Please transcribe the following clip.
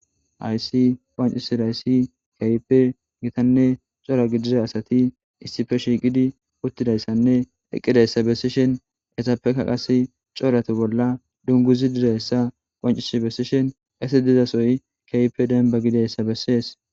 Haysi pacisidayssi kayipe gitanne cora gidiza asati issife shiiqidi uttidayssanne eqqidayssa bessishen esappeka qase corate bolla dunguzi dizayssa qoncish bessishen qesi dizasoy kaype denba gidayssa bessees.